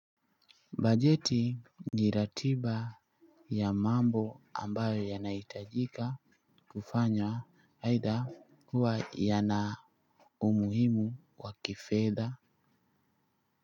Bajeti no ratiba ya mambo ambayo yanahitajika kufanya aidha kuwa yana umuhimu wa kifedha.